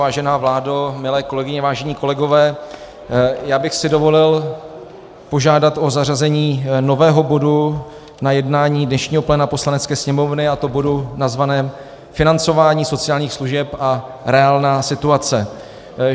Vážená vládo, milé kolegyně, vážení kolegové, já bych si dovolil požádat o zařazení nového bodu na jednání dnešního pléna Poslanecké sněmovny, a to bodu nazvaném Financování sociálních služeb a reálná situace.